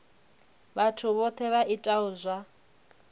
vhathu vhohe vha itaho zwa